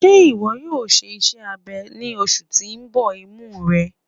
Ṣe iwọ yoo ṣe iṣẹ abẹ ni oṣu ti n bọ imu rẹ?